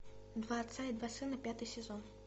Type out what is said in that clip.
два отца и два сына пятый сезон